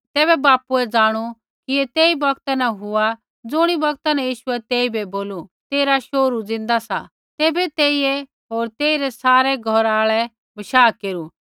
तैबै बापुए जाणु कि ऐ तेई बोगता न हुआ ज़ुणी बौगता न यीशुऐ तेइबै बोलू तेरा शोहरू ज़िन्दा सा तैबै तेइयै होर तेइरै सारै घौरा आल़ै बशाह केरू